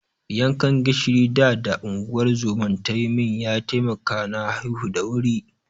Yankan gishirin da da unguwar zoman ta yi min ya taimaka na haihu da wuri.